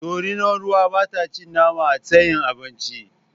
Dorinar ruwa ba ta cin nama a tsayin abinci